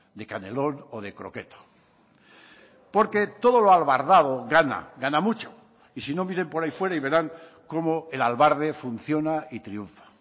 de canelón o de croqueta porque todo lo albardado gana gana mucho y si no miren por ahí fuera y verán cómo el albarde funciona y triunfa